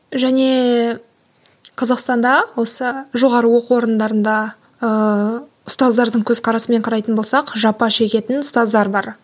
және қазақстанда осы жоғары оқу орындарында ыыы ұстаздардың көзқарасымен қарайтын болсақ жапа шегетін ұстаздар бар